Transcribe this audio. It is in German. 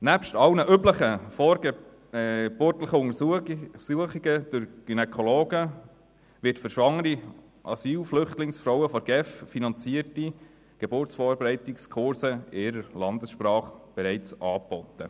Neben allen üblichen vorgeburtlichen Untersuchungen durch Gynäkologen werden bereits für schwangere Asylbewerberinnen und Flüchtlingsfrauen von der GEF finanzierte Geburtsvorbereitungskurse in der jeweiligen Landessprache angeboten.